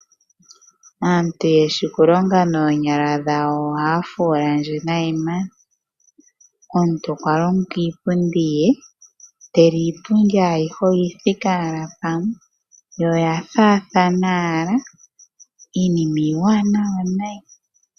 Aantu ye shi okulonga noonyala dhawo ohaya fuula ndje nayi. Omuntu okwa longa iipundi ye ndele iipundi ayihe oyi thike owala pamwe yo oya faathana owala iinima iiwanawa noonkondo.